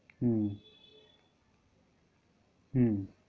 হম